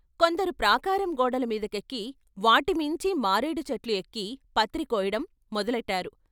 కొందరు ప్రాకారం గోడల మీదకెక్కి వాటిమీంచి మారేడు చెట్లు ఎక్కి పత్రి కోయటం మొదలెట్టారు.